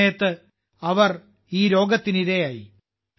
ഈ സമയത്ത് അവർ ഈ രോഗത്തിന് ഇരയായി